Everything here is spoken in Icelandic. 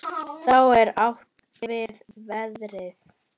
Þá er átt við veðrið.